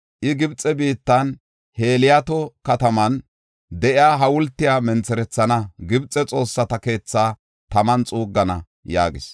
I, Gibxe biittan Heliyoota kataman de7iya hawultiya mentherethana; Gibxe xoossata keethaa taman xuuggana’ ” yaagis.